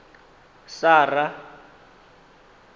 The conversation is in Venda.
sara